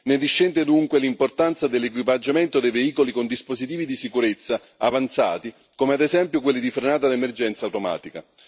Ne discende, dunque, l'importanza dell'equipaggiamento dei veicoli con dispositivi di sicurezza avanzati, come ad esempio quelli di frenata d'emergenza automatica.